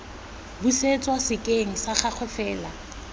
busetswa sekeng sa gagwe fa